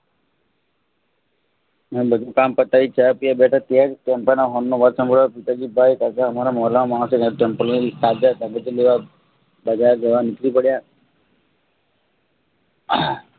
હું બધું કામ પતાવી ચાપિવ બેઠો ત્યારે ટેમ્પાનો હોંનો અવાજ સંભળાયો પિતાજી ભાઈ કાકા શાકભાજી લેવા નીકળી પડ્યા